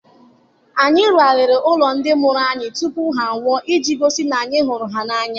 Anyị rụgharịrị ụlọ ndị mụrụ anyị tụpụ ha nwụọ iji gosi na anyị hụrụ ha n'anya.